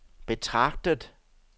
betragtet